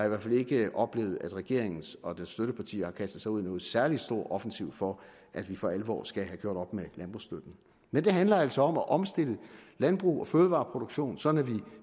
i hvert fald ikke oplevet at regeringen og dens støttepartier har kastet sig ud i nogen særlig stor offensiv for at vi for alvor skal have gjort op med landbrugsstøtten men det handler altså om at omstille landbrug og fødevareproduktion sådan at vi